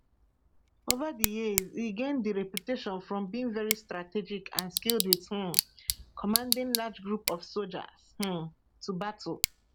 ova di years e gain di reputation from being very strategic and skilled wit um commanding large group of sojas um to battle